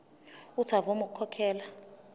uuthi avume ukukhokhela